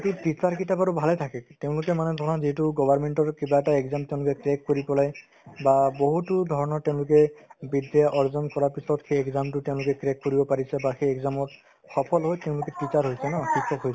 সেইটোত teacher কেইটা বাৰু ভালে থাকে তেওঁলোকে মানে ধৰা যিহেতু government ৰ কিবা এটা exam তেওঁলোকে crack কৰি পেলাই বা বহুতো ধৰণৰ তেওঁলোকে বিদ্যা অৰ্জন কৰাৰ পিছত সেই exam তো তেওঁলোকে crack কৰিব পাৰিছে বা সেই exam ত সফল হৈ তেওঁলোকে teacher হৈছে ন শিক্ষক হৈছে